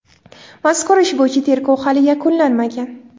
Mazkur ish bo‘yicha tergov hali yakunlanmagan.